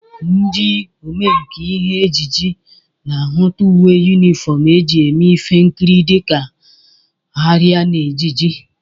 Ndị omenkà ihe ejije na-ahụta uwe yunifọm e ji eme ihe nkiri dịka arịa na ejiji